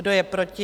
Kdo je proti?